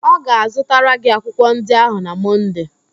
Ọ ga-azụtara gị akwụkwọ ndị ahụ na Mọnde